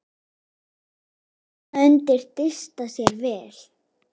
Þarna undi Dysta sér vel.